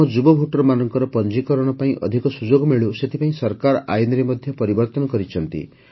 ଆମ ଯୁବ ଭୋଟରମାନଙ୍କର ପଞ୍ଜୀକରଣ ପାଇଁ ଅଧିକ ସୁଯୋଗ ମିଳୁ ସେଥିପାଇଁ ସରକାର ଆଇନରେ ପରିବର୍ତ୍ତନ କରିଛନ୍ତି